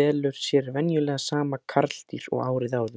velur sér venjulega sama karldýr og árið áður.